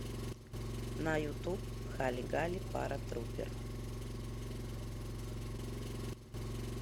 на ютуб хали гали паратрупер